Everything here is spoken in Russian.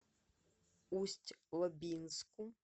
усть лабинску